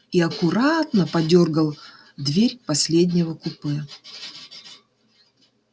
и аккуратно подёргал дверь последнего купе